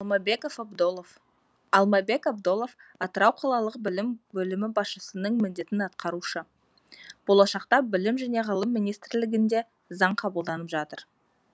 алмабеков абдолов алмабек абдолов атырау қалалық білім бөлімі басшысының міндетін атқарушы болашақта білім және ғылым министрлігінде заң қабылданып жатыр